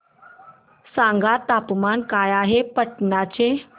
सांगा तापमान काय आहे पाटणा चे